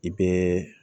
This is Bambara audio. I bɛɛ